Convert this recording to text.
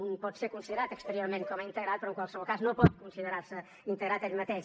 un pot ser considerat exteriorment com a integrat però en qualsevol cas no pot considerar se integrat ell mateix